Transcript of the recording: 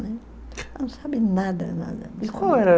não sabe nada, nada.